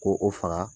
Ko o faga